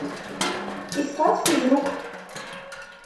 искать физрук